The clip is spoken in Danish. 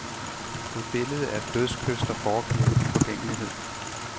Et billede er et dødskys, der foregiver uforgængelighed.